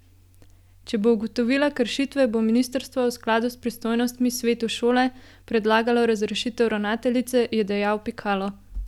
Če bo ugotovila kršitve, bo ministrstvo v skladu s pristojnostmi svetu šole predlagalo razrešitev ravnateljice, je dejal Pikalo.